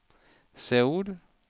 Seoul